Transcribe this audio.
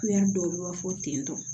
dɔw bɛ fɔ tentɔ